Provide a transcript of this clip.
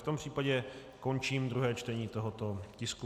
V tom případě končím druhé čtení tohoto tisku.